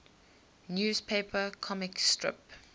newspaper comic strip